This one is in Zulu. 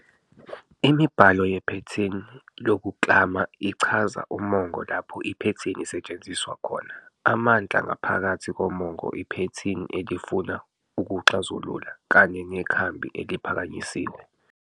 Imibhalo yephethini lokuklama ichaza umongo lapho iphethini isetshenziswa khona, amandla ngaphakathi komongo iphethini elifuna ukuwaxazulula, kanye nekhambi eliphakanyisiwe.